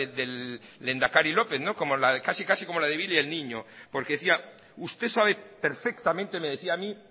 del lehendakari lópez como casi la de billy el niño porque decía usted sabe perfectamente me decía a mí